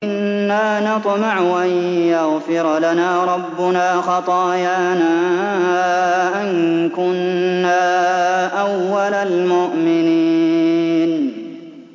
إِنَّا نَطْمَعُ أَن يَغْفِرَ لَنَا رَبُّنَا خَطَايَانَا أَن كُنَّا أَوَّلَ الْمُؤْمِنِينَ